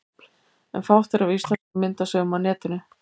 En fátt er af íslenskum myndasögum á netinu.